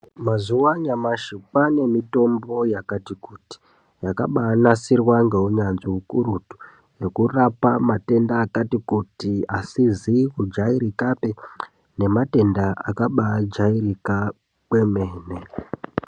Mazuwa anyamashi kwane mitombo yakati kuti yakabanasirwa ngeunyanzi ukurutu yekurapa matenda akati kuti asizi kujairikapi nematenda akabajairika kwemene.